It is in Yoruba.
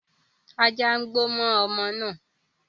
Ajá ń gbó mọ́ ọmọ náà